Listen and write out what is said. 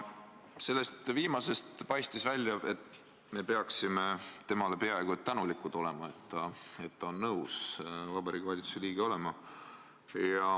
Sellest viimasest jäi mulje, et me peaksime temale peaaegu et tänulikud olema, et ta on nõus Vabariigi Valitsuse liige olema.